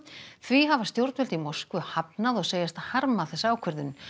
því hafa stjórnvöld í Moskvu hafnað og segjast harma þessa ákvörðun